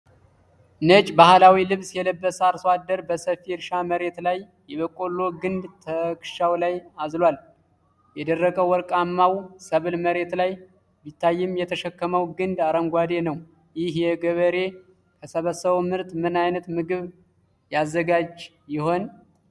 ነጭ ባህላዊ ልብስ የለበሰ አርሶ አደር በሰፊ የእርሻ መሬት ላይ የበቆሎ ግንድ ትከሻው ላይ አዝሏል። የደረቀው ወርቃማው ሰብል መሬት ላይ ቢታይም፣ የተሸከመው ግንዱ አረንጓዴ ነው። ይህ ገበሬ ከሰበሰበው ምርት ምን አይነት ምግብ ያዘጋጅ ይሆን?